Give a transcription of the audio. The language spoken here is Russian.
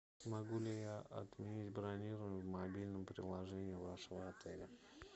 могу ли я отменить бронирование в мобильном приложении вашего отеля